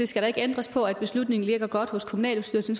skal ændres på at beslutningen ligger godt hos kommunalbestyrelsen